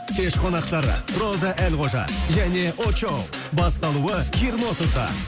кеш қонақтар роза әлқожа және очоу басталуы жиырма отызда